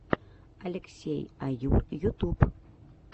алексей аюр ютуб